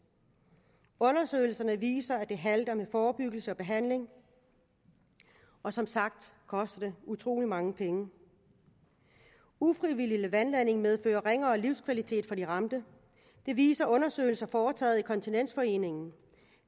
undersøgelserne viser at det halter med forebyggelse og behandling og som sagt koster det utrolig mange penge ufrivillig vandladning medfører ringere livskvalitet for de ramte det viser undersøgelser foretaget af kontinensforeningen